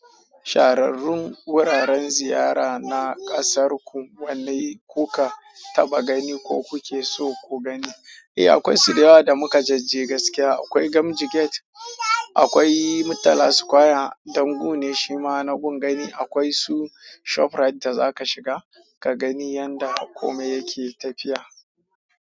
Shahararrun wuraren ziyara na ƙasarku wanne kuka taɓa gani ko kuke so ku gani? Eh akwai su da yawa da mukajejje gaskiya. Akwai Gamji Gate, akwai Murtala Square, ɗan gu ne shima na gun gani. Akwai su Shop Rite da za ka shiga, ka gani yanda komai yake tafiya.